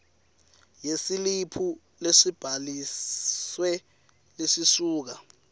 yesiliphu lesibhalisiwe lesisuka